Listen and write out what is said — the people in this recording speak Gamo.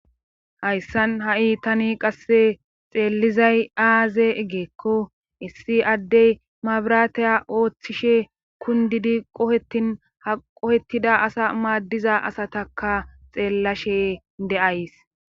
hayssan ha7i tani qasse xeellizay aaze ggeekko issi addey mabiraataya ooththishe kundidi qohetin ha qohettida asa maaddiza asataka xeellashe de7ays